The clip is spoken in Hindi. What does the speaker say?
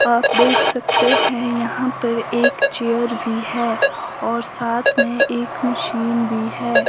आप देख सकते हैं यहां पर एक चेयर भी है और साथ में एक मशीन भी है।